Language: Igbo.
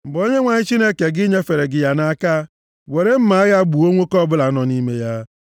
Mgbe Onyenwe anyị Chineke gị nyefere gị ya nʼaka, were mma agha gbuo nwoke ọbụla nọ nʼime ya.